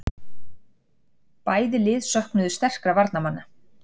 Bæði lið söknuðu sterkra varnarmanna